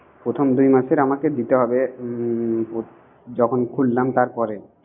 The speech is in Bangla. প্রথম দুই মাসে আমাকে দিতে হবে। হুম যখন খুললাম তারপরে